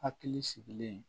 Hakili sigilen